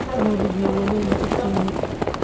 Nooliki wali maa ii sinin.